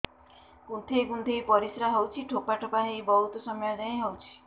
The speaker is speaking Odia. କୁନ୍ଥେଇ କୁନ୍ଥେଇ ପରିଶ୍ରା ହଉଛି ଠୋପା ଠୋପା ହେଇ ବହୁତ ସମୟ ଯାଏ ହଉଛି